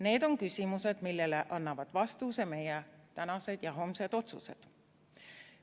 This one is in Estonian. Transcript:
Need on küsimused, millele annavad vastuse meie tänased ja homsed otsused.